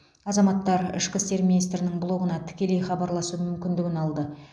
азаматтар ішкі істер министрінің блогына тікелей хабарласу мүмкіндігін алды